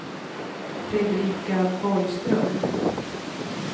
Fredrika Borgström